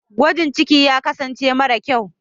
gwajin ciki ya kasance mara kyau